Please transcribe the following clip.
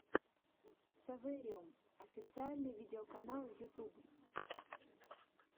совэриум официальный видеоканал ютьюб